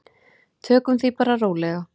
Tökum því bara rólega.